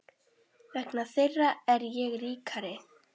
Vegna þeirra er ég ríkari.